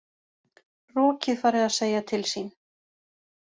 Rokið farið að segja til sín